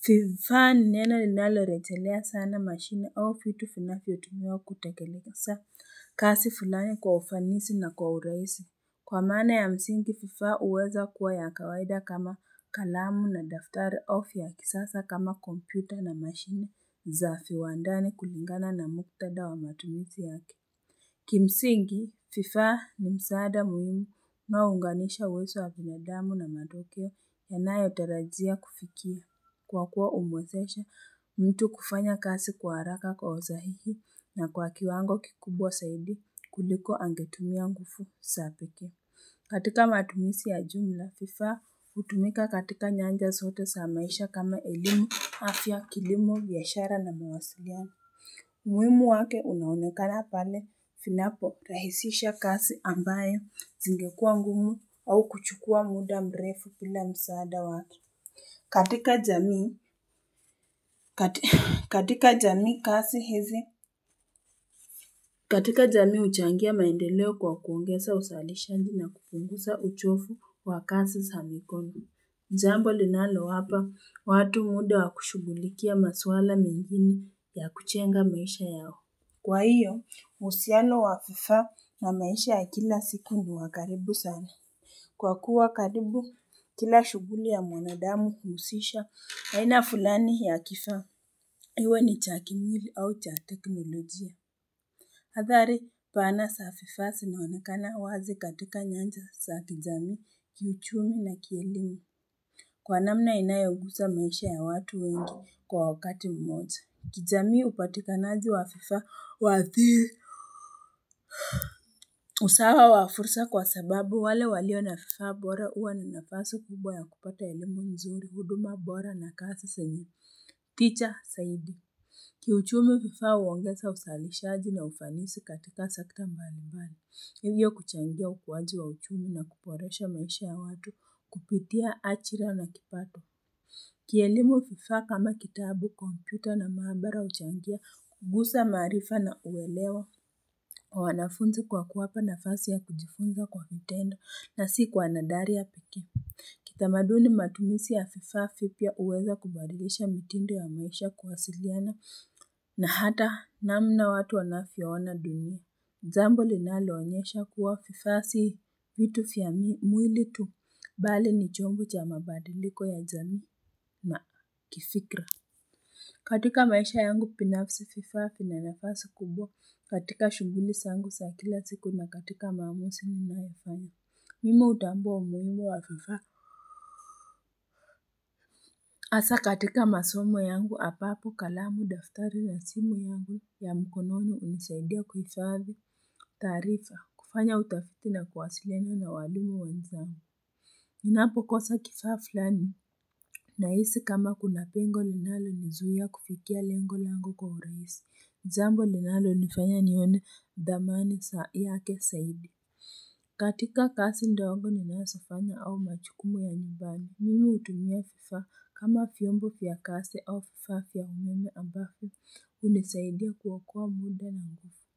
Fifaa ni neno linalorechelea sana machine off yutu finafyo tumiwa kutakelekasa kasi fulani kwa ufanisi na kwa uraisi. Kwa maana ya msingi, Fifaa uweza kuwa ya kawaida kama kalamu na daftari au fya kisasa kama kompyuta na mashine za fiwandani kulingana na muktadha wa matumizi yake. Kimsingi, FIFAA ni msaada muhimu unaounganisha uwezo wa binadamu na mayokeo yanayo tarajia kufikia kwa kuwa umwezesha mtu kufanya kasi kwa haraka kwa usahihi na kwa kiwango kikubwa saidi kuliko angetumia ngufu sa peke. Katika matumisi ya jumla, FIFAA utumika katika nyanja sote sa maisha kama elimu afya kilimo, biashara na mwasiliano. Muimu wake unaunekana pale finapo rahisisha kasi ambayo zingekua ngumu au kuchukua muda mrefu bila msaada watu katika jamii katika jamii kasi hizi katika jamii uchangia maendeleo kwa kuongesa usalishaji na kupungusa uchofu wa kasi za mikono jambo linalowapa watu muda wa kushugulikia maswala mengine ya kuchenga maisha yao Kwa hiyo, usiano wa fifaa na maisha ya kila siku ni wakaribu sana. Kwa kuwa karibu, kila shuguli ya mwanadamu huusisha, aina fulani ya kifaa, iwe ni cha kimwili au cha teknolojia. Hadhari, pana sa fifaa, sinaonekana wazi katika nyanja sa kijamii, kiuchumi na kielimu. Kwa namna inayogusa maisha ya watu wengi kwa wakati mmoja. Kijamii upatikanaji wa fifaa uwathiri. Usawa wa fursa kwa sababu wale walio na fifaa bora uwa na nafasi kubwa ya kupata elimu mzuri, huduma bora na kasi senye tija, saidi. Kiuchumi fifaa uongesa usalishaji na ufanisi katika sekta mbali mbali. Hivyo kuchangia ukuwaji wa uchumi na kuporesha maisha ya watu kupitia achira na kipato. Kielimu fifa kama kitabu, kompyuta na mahabara uchangia kugusa maarifa na uwelewa wa wanafunzi kwa kuwapa nafasi ya kujifunza kwa kutenda na si kwa nadharia peke. Kitamaduni matumisi ya fifaa fipya uweza kubadilisha mitindo ya maasha kuwasiliana na hata namna watu wanafyo ona dunia. Jambo linaloonyesha kuwa fifaa sii vitu fya mwili tu bali ni chombo cha mabadiliko ya jamii na kifikra katika maisha yangu pinafsi fifaa fina nafasi kubwa katika shuhuli sangu sa kila siku na katika maamusi ninayofanya Mimi utambua umuimu wa fifaa Asa katika masomo yangu apapo kalamu daftari na simu yangu ya mkononi unisaidia kuhifadhi taarifa, kufanya utafiti na kuwasiliana na walimu wanzangu Ninapo kosa kifaa flani, nahisi kama kuna pengo linalo nizuia kufikia lengo langu kwa urahisi jambo linalo nifanya nione dhamani sa yake saidi katika kasi ndogo ninasofanya au machukumu ya nyumbani Mimi utumia fifaa kama fiyombo fya kasi au fifaa fya umeme ambafyo unisaidia kuokoa muda na ngufu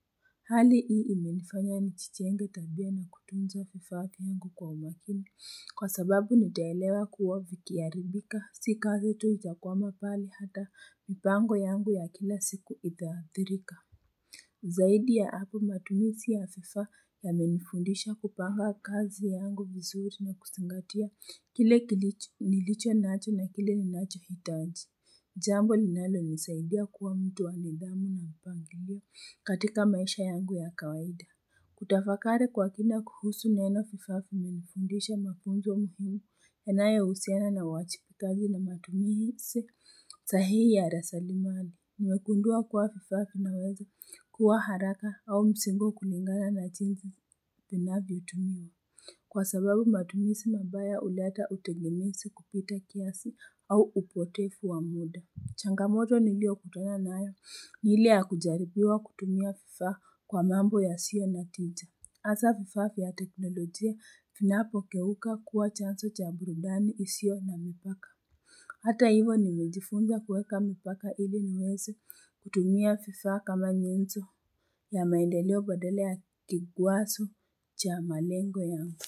Hali hii imenifanya nichichenge tabia na kutunza fifaa vyangu kwa umakini. Kwa sababu nitaelewa kuwa vikiaribika, si kazi tu itakwama pale hata mipango yangu ya kila siku itaathirika. Zaidi ya hapo matumisi ya fifaa yamenifundisha kupanga kazi yangu vizuri na kusingatia kile kilicho nilicho nacho na kile ninacho hitaji. Jambo linalo nisaidia kuwa mtu wa nidhamu na upangilia katika maisha yangu ya kawaida. Kutafakari kwa kina kuhusu neno fifaa vimenifundisha mafunzo muhimu yanayo usiana na uwachipikaji na matumisi sahihi ya raslimali. Nimegundua kwa fifaa finaweza kuwa haraka au msimbo kulingana na jinsi vinavyo tumiwa. Kwa sababu matumisi mabaya uleta utegemesi kupita kiasi au upotefu wa muda. Changamoto nilio kutana nayo, ni ile ya kujaribiwa kutumia fifaa kwa mambo yasio na tija. Asa fifaa fya teknolojia finapo keuka kuwa chanso cha burudani isio na mipaka. Hata hivo nimejifunza kuweka mipaka hili niwese kutumia fifaa kama nyenzo ya maendeleo badala ya kigwaso cha malengo yangu.